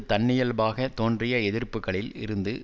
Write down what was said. தன்னியல்பாக தோன்றிய எதிர்ப்புக்களில் இருந்து